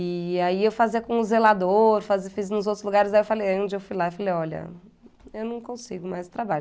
E aí eu fazia com o zelador, fa fiz nos outros lugares, aí eu falei, um dia eu fui lá e falei, olha, eu não consigo mais trabalho.